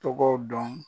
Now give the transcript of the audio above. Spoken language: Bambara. Tɔgɔ dɔn